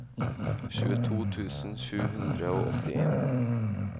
tjueto tusen sju hundre og åttien